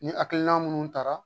Ni hakilina minnu taara